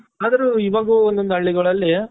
ಆದ್ರು ಇವಾಗ ಒಂದೊಂದು ಹಳ್ಳಿಗಳಲ್ಲಿ ಹುಡುಗ್ರುಗೆ